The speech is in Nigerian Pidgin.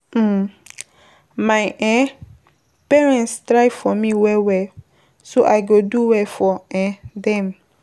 um My um parents try for me well well so I go do well for um dem.